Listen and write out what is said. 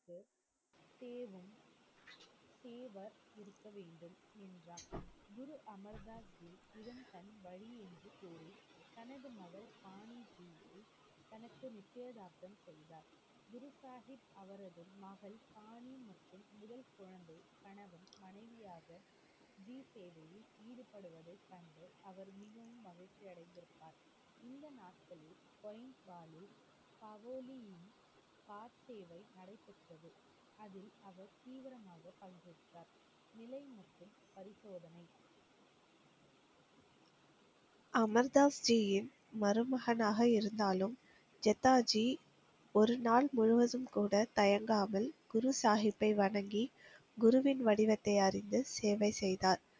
Amir Das ஜியின் மருமகனாக இருந்தாலும், ஜத்தாஜி ஒருநாள் முழுவதும் கூட தயங்காமல் குரு சாஹிப்பை வணங்கி, குருவின் வடிவத்தை அறிந்து சேவை செய்தார்.